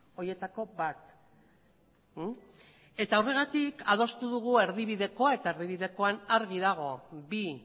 horietako bat eta horregatik adostu dugu erdibidekoa eta erdibidekoan argi dago bi